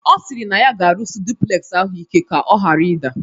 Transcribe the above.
Ọ sịrị na ya ga-arụsị duplegzi ahụ ike ka ọ ghara ịda